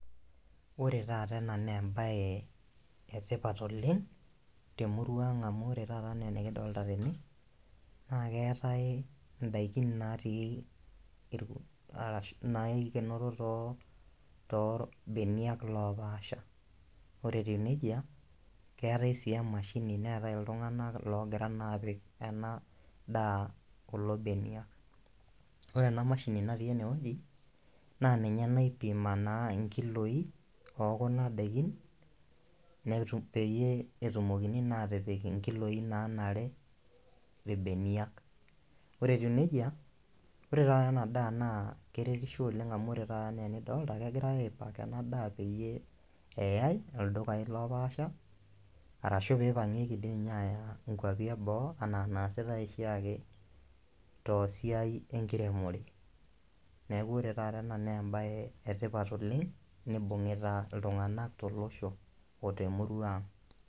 Ore taata ena naa embaye etipat oleng temurua ang amu ore taata enaa enikidolta tene naa keetae indaikin natii irk arashu naikenoro too torbeniak lopaasha ore etiu nejia keetae sii emashini neetae iltung'anak logira naa apik ena daa kulo benia ore ena mashini natii enewueji naa ninye naipima naa inkiloi okuna daikin netu peyie etumokini naa atipik inkiloi naa nanare irbeniak ore etiu nejia ore taata ena daa naa keretisho oleng amu ore taata enaa enidolta kegirae ae pack ena daa peyie eyae ildukai lopaasha arashu peipangieki dii ninye aaya inkuapi eboo anaa naasitae oshi ake tosiai enkiremore neku ore taata ena nembaye etipat oleng nibung'ita iltung'anak tolosho otemurua ang.